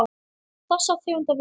Þessa tegund af vöru.